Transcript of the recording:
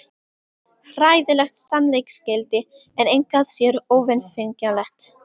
Hræðilegt sannleiksgildi, en engu að síður óvéfengjanlegt.